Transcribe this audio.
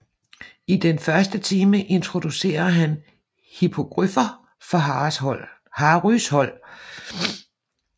I den første time introducerer han hippogriffer for Harrys hold